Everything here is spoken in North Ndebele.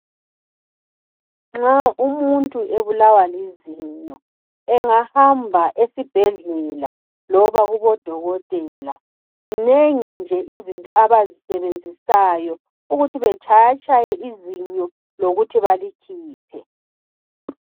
Nxa umuntu ebulawa lizinyo engahamba esibhedlela loba kubodokotela zinengi nje izinto abazisebenzisayo ukuthi batshayatshaye izinyo lokuthi balikhiphe.